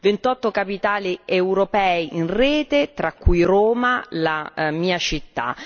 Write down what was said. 28 capitali europee in rete, tra cui Roma, la mia città.